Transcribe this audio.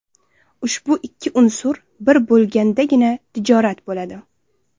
Ushbu ikki unsur bir bo‘lgandagina, tijorat bo‘ladi.